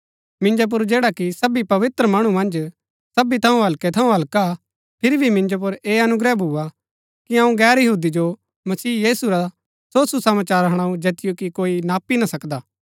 मिन्जो पुर जैडा कि सबी पवित्र मणु मन्ज सबी थऊँ हल्कै थऊँ हल्का हा फिरी भी मिन्जो पुर ऐह अनुग्रह भुआ कि अऊँ गैर यहूदी जो मसीह यीशु रा सो सुसमाचार हणाऊ जैतिओ कि कोई नापी ना सकदा